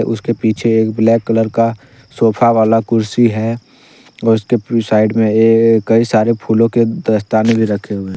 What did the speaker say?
उसके पीछे एक ब्लैक कलर का सोफा वाला कुर्सी है और उसके पूरे साइड में कई सारे फूलों के दस्ताने भी रखे हुए।